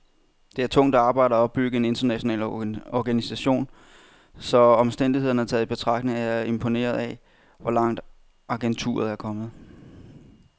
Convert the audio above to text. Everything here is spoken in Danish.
Det er tungt arbejde at opbygge en international organisation, så omstændighederne taget i betragtning er jeg imponeret af, hvor langt agenturet er kommet.